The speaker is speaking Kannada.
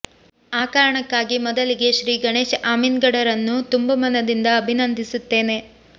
ಆ ಕಾರಣಕ್ಕಾಗಿ ಮೊದಲಿಗೆ ಶ್ರೀ ಗಣೇಶ್ ಅಮೀನ್ಗಡರನ್ನು ತುಂಬು ಮನದಿಂದ ಅಭಿನಂದಿಸುತ್ತೇನೆ